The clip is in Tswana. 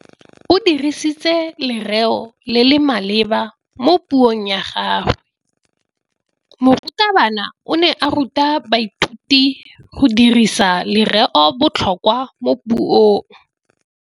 O dirisitse lerêo le le maleba mo puông ya gagwe. Morutabana o ne a ruta baithuti go dirisa lêrêôbotlhôkwa mo puong.